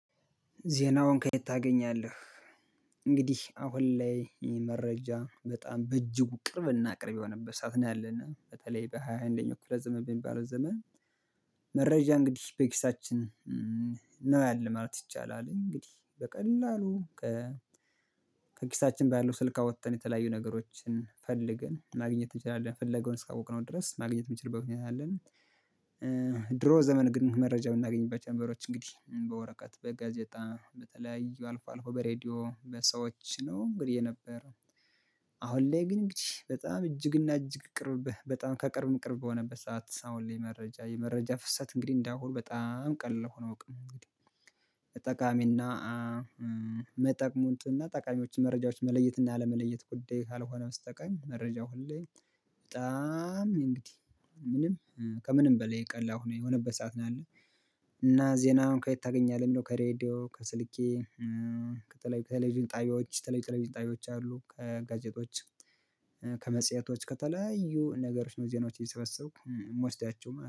ዜናውን ከየት ታገኛለህ? እንግዲህ አሁን ላይ ይሄ መረጃ በጣም በእጅጉ ቅርብ ና ቅርብ የሆነበት ሰዓት ነው ያለነው በተለይ በሃያ አንደኛው ክፍለ ዘመን በሚባለው ዘመን። መረጃ እንግዲህ በኪሳችን ነው ያለው ማለት ይቻላል እንግዲህ በቀላሉ። ከኪሳችን ባለው ስልክ አወጥተን የተለያዩ ነገሮችን ፈልገን ማግኘት እንችላለን ፍለጋው እስካወቅነው ድረስ ማግኘት የምንችልበት ሁኔታ አለን። ድሮ ዘመን ግን መረጃ የምናገኝባቸው ነገሮች እንግዲህ በወረቀት በጋዜጣ በተለያዩ አልፎ አልፎ በሬዲዮ በሰዎች ነው እንግዲህ የነበረው። አሁን ላይ ግን እንግዲህ በጣም እጅግና እጅግ ቅርብ በጣም ከቅርብ ቅርብ በሆነበት ሰዓት አሁን ላይ መረጃ የመረጃ ፍሰት እንግዲህ እንደአሁን በጣም ቀላል ሁኖ አያውቅም። ተጠቃሚና መጠቅሙን ጥና ጠቃሚዎችን መረጃዎችን መለየት እና አለመለየት ጉዳይ ካልሆነ በስተቀር መረጃው ሁሌ በጣም እንግዲህ ምንም ከምንም በላይ ቀላል የሆነበት ሰዓት ነው ያለው። እና ዜና ከየት ታገኛለህ? የሚለው ከሬድዮ ከስልኬ በተለይ ከቴሌቪዥን ጣብያዎች ቴሌቪዥን ጣብያዎች አሉ ከጋዜጦች። ከመጽሄቶች ከተለያዩ ነገሮች ነው ዜናዎች እየሰበሰብኩ የምወስዳቸው ማለት ነው